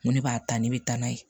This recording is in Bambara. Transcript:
N ko ne b'a ta ne bɛ taa n'a ye